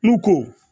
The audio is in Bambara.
N'u ko